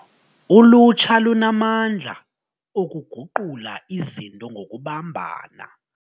Ulutsha lunamandla okuguqula izinto ngokubambana.